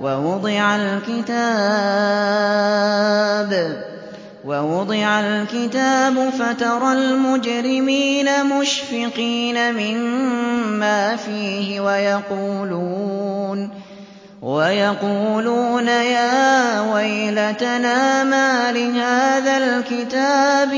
وَوُضِعَ الْكِتَابُ فَتَرَى الْمُجْرِمِينَ مُشْفِقِينَ مِمَّا فِيهِ وَيَقُولُونَ يَا وَيْلَتَنَا مَالِ هَٰذَا الْكِتَابِ